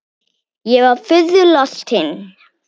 Ég var furðu lostin.